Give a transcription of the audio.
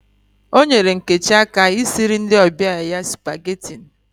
O nyere Nkechi aka I siri ndi obia ya supageti